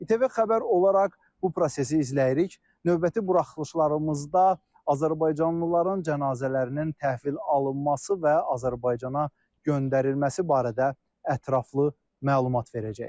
İTV Xəbər olaraq bu prosesi izləyirik, növbəti buraxılışlarımızda azərbaycanlıların cənazələrinin təhvil alınması və Azərbaycana göndərilməsi barədə ətraflı məlumat verəcəyik.